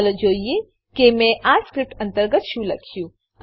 ચાલો જોઈએ કે મેં આ સ્ક્રીપ્ટ અંતર્ગત શું લખ્યું છે